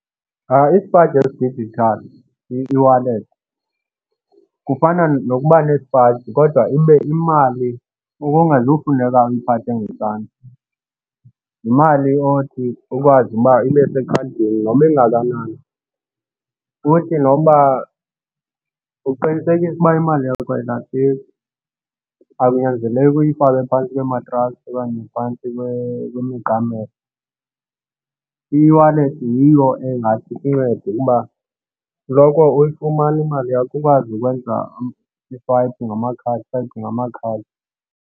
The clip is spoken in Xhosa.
Isipaji esi-digital, i-e-wallet kufana nokuba nesipayisi kodwa ibe imali kungazufuneka uyiphathe ngesandla. Yimali othi ukwazi uba ibe sekhadini noba ingakanani. Futhi noba uqinisekise ukuba imali yakho ayilahleki, akunyanzeleki uyifake phantsi komatrasi okanye phantsi kwemiqamelo. I-e-wallet yiyo engathi ikuncede ukuba uloko uyifumana imali yakho ukwazi ukwenza ngamakhadi ngamakhadi.